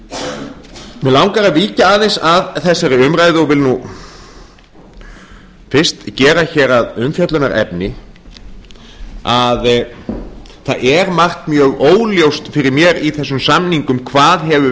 mig langar að víkja aðeins að þessari umræðu og vil fyrst gera að umfjöllunarefni að það er margt mjög óljóst fyrir mér í þessum samningum hvað hefur